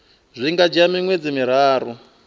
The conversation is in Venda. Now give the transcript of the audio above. zwi nga dzhia miṅwedzi miraru